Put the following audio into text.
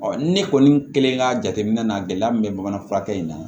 ne kɔni kelen ka jateminɛ na gɛlɛya min bɛ bamanan fura kɛ in na